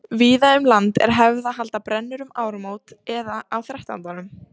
víða um land er hefð að halda brennur um áramót eða á þrettándanum